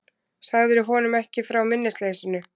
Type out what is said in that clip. Sagðirðu honum ekki frá minnisleysinu?